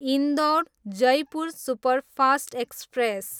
Indore, Jaipur superfast express